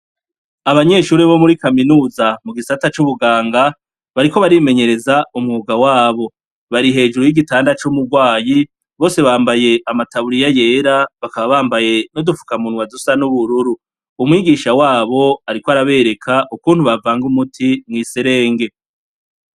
Abanyeshure bo muri kaminuza mu gisata c'ubuganga, bariko barimenyereza umwuga wabo, bari hejuru y'igitanda c'umugwayi, bose bambaye amataburiya yera, bakaba bambaye n'udufukamunwa dusa n'ubururu, umwigisha wabo ariko arabereka ukuntu bavanga umuti mw'iserenge.